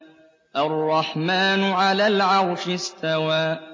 الرَّحْمَٰنُ عَلَى الْعَرْشِ اسْتَوَىٰ